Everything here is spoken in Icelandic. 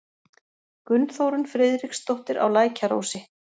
Gunnþórunn Friðriksdóttir á Lækjarósi